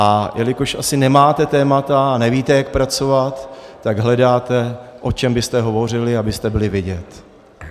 A jelikož asi nemáte témata a nevíte, jak pracovat, tak hledáte, o čem byste hovořili, abyste byli vidět.